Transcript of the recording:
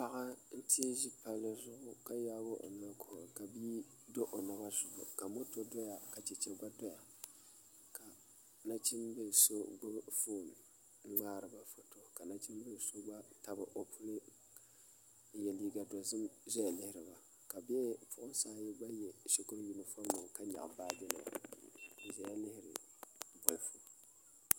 Paɣa n teei ʒi palli zuɣu ka yaagi o noli kuhura ka moto doya ka Chɛchɛ gba doya ka nachimbili so gbubi foon n ŋmaariba foto ka nachimbili so gba tabi o puli n yɛ liiga dozim ʒɛya lihiriba ka bipuɣunsi ayi gba yɛ shikuru yunifom nima ka nyaɣa baaji nima n ʒɛya liiri bolfu